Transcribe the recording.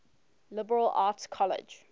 liberal arts college